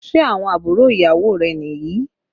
Ṣé àwọn àbúrò ìyàwó rẹ̀ ni yìí?